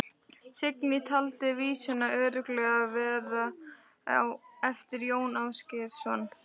Signý taldi vísuna örugglega vera eftir Jón Ásgeirsson.